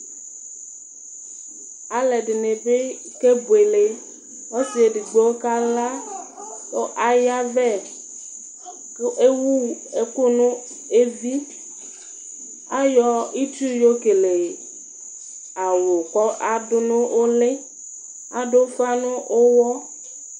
aluɛdɩnɩbɩ kebuele, ɔsidɩ bɩ kala kʊ ayavɛ kʊ ewu ɛkʊ nʊ evi, ayɔ itsu yɔ kele awu, kʊ adʊ nʊ ʊlɩ, adʊ ufa nʊ uwɔ